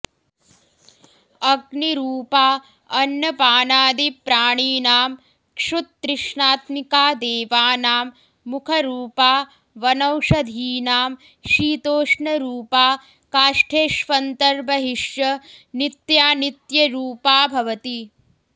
अग्निरूपा अन्नपानादिप्राणिनां क्षुत्तृष्णात्मिका देवानां मुखरूपा वनौषधीनां शीतोष्णरूपा काष्ठेष्वन्तर्बहिश्च नित्यानित्यरूपा भवति